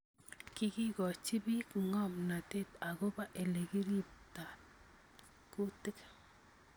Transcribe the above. kikikoochi biik ng�omnateet agobo elekitarta kutik